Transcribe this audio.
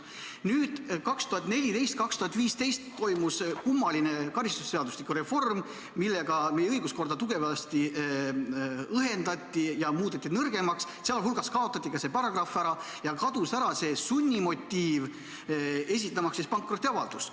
Nüüd 2014–2015 toimus kummaline karistusseadustiku reform, millega meie õiguskorda tugevasti õhendati ja muudeti nõrgemaks, sh kaotati ära see paragrahv ja kadus ära sunnimotiiv, miks esitada pankrotiavaldust.